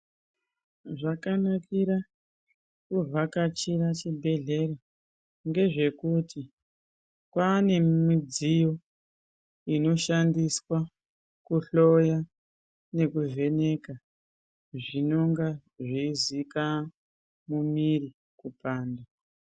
Zvakanakira kuvhakachira chibhedhlera ,ngezvekuti Kwaane midziyo inoshandiswa kuhloya nekuvheneka zvinenga zveizika mwiri kupanda.